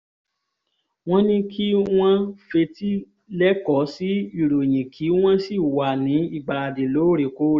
wọ́n ní kí wọ́n fetí lẹ́kọ́ sí ìròyìn kí wọ́n sì wà ní ìgbáradì lóòrèkóòrè